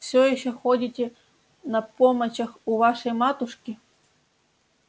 всё ещё ходите на помочах у вашей матушки